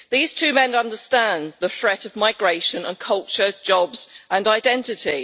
These two men understand the threat of migration and culture, jobs and identity.